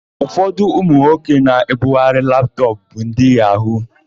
Ụfọdụ ụmụnwoke na-ebugharị laptọpụ bụ ndị yahu-yahu.